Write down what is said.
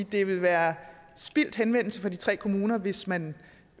det vil være spildt henvendelse fra de tre kommuner hvis man